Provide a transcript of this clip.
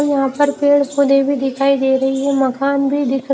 यहां पर पेड़ पौधे भी दिखाई दे रही है मकान भी दिख रहा।